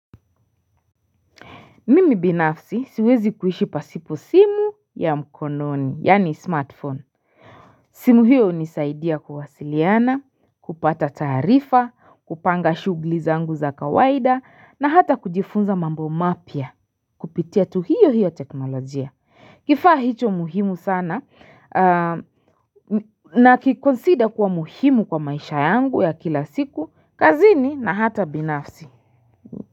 Mimi binafsi siwezi kuishi pasipo simu ya mkononi, yani smartphone. Simu hiyo unisaidia kuwasiliana, kupata tarifa, kupanga shugli zangu za kawaida, na hata kujifunza mambo mapia, kupitia tu hiyo hiyo teknolojia. Kifaa hicho muhimu sana, na kikonsida kuwa muhimu kwa maisha yangu ya kila siku, kazini na hata binafsi.